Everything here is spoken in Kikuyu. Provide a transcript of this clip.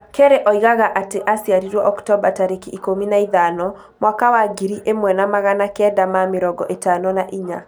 Kerre oigaga atĩ aaciarirũo Oktomba tarĩki ikũmi naithano , mwakawa ngiri ĩmwe na magana kenda ma mĩrongo ĩtano na inya.